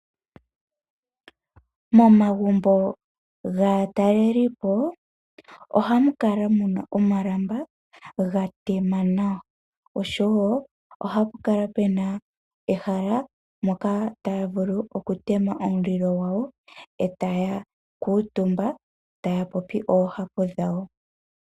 Momagumbo gaataleli po, ohamu kala muna omalamba ga tema nawa oshowo ohapu kala puna ehala moka taya vulu oku tema omulilo gwawo, e taya kuutumba, taya popi oohapu dhawo.